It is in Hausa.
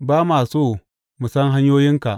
Ba ma so mu san hanyoyinka.